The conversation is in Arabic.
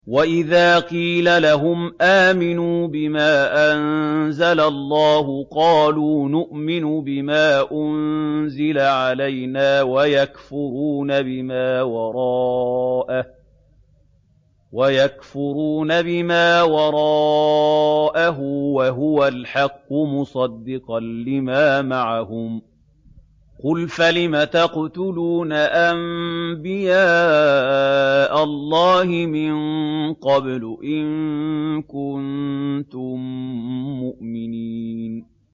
وَإِذَا قِيلَ لَهُمْ آمِنُوا بِمَا أَنزَلَ اللَّهُ قَالُوا نُؤْمِنُ بِمَا أُنزِلَ عَلَيْنَا وَيَكْفُرُونَ بِمَا وَرَاءَهُ وَهُوَ الْحَقُّ مُصَدِّقًا لِّمَا مَعَهُمْ ۗ قُلْ فَلِمَ تَقْتُلُونَ أَنبِيَاءَ اللَّهِ مِن قَبْلُ إِن كُنتُم مُّؤْمِنِينَ